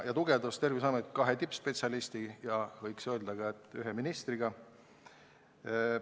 Terviseametit tugevdati kahe tippspetsialisti ja võiks öelda, et ka ühe ministriga.